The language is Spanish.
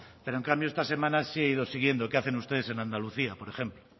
pero en cambio esta semana sí he ido siguiendo qué hacen ustedes en andalucía por ejemplo